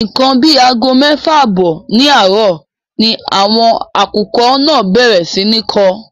Ńkan àbí àgọ méfà àbọ́ ní àárò ni àwọn akùkọ́ náà bèrè sí ní nkó.